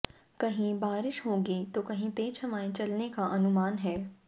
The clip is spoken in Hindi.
कहीं बारिश होगी तो कहीं तेज हवाएं चलने का अनुमान है